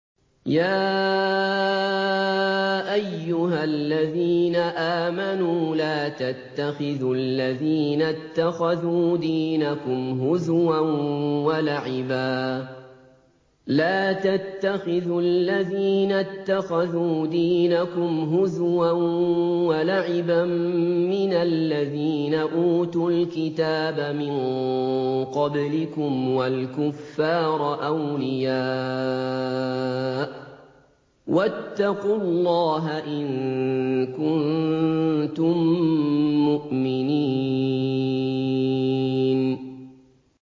يَا أَيُّهَا الَّذِينَ آمَنُوا لَا تَتَّخِذُوا الَّذِينَ اتَّخَذُوا دِينَكُمْ هُزُوًا وَلَعِبًا مِّنَ الَّذِينَ أُوتُوا الْكِتَابَ مِن قَبْلِكُمْ وَالْكُفَّارَ أَوْلِيَاءَ ۚ وَاتَّقُوا اللَّهَ إِن كُنتُم مُّؤْمِنِينَ